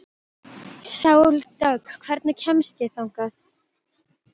Sóldögg, hvernig kemst ég þangað?